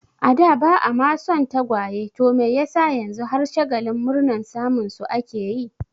A da ba'a ma son tagwaye to me yasa yanzu har shagalin murnar samun su ake yi?